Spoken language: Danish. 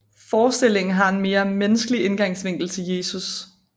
Forestillingen har en mere menneskelig indgangsvinkel til Jesus